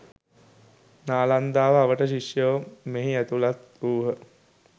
නාලන්දාව අවට ශිෂ්‍යයෝ මෙහි ඇතුළත් වූහ.